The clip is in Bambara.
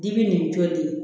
Digi nin jolen